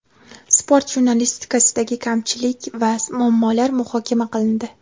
Sport jurnalistikasidagi kamchilik va muammolar muhokama qilindi.